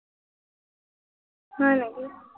হয় নেকি?